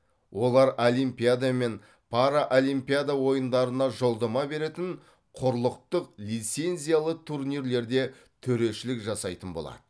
олар олимпиада мен параолимпиада ойындарына жолдама беретін құрлықтық лицензиялы турнирлерде төрешілік жасайтын болады